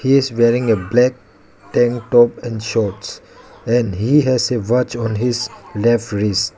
he is wearing a black top and shorts and he has a watch on his left wrist.